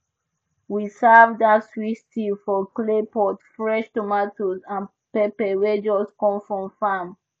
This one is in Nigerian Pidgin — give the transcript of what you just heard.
we serve dat sweet stew for clay pot fresh tomatoes and pepper wey just come from farm